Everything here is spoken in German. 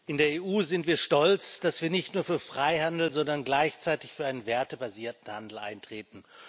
In der EU sind wir stolz, dass wir nicht nur für Freihandel, sondern gleichzeitig für einen wertebasierten Handel eintreten.